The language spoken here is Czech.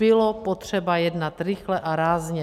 Bylo potřeba jednat rychle a rázně.